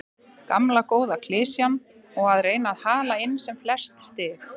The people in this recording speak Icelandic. Gamla góða klisjan og að reyna að hala inn sem flest stig.